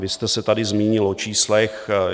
Vy jste se tady zmínil o číslech.